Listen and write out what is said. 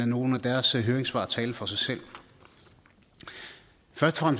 nogle af deres høringssvar tale for sig selv først og